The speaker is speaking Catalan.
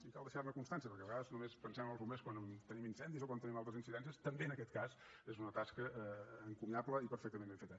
i cal deixar ne constància perquè a vegades només pensem en els bombers quan tenim incendis o quan tenim altres incidències també en aquest cas és una tasca encomiable i perfectament ben feta